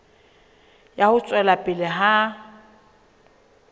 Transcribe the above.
ya ho tswela pele ha